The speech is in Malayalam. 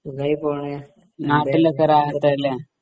സുഖായി പോണേ